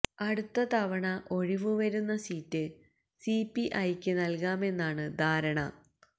അടുത്ത തവണ ഒഴിവ് വരുന്ന സീറ്റ് സിപിഐക്ക് നല്കാമെന്നാണ് ധാരണ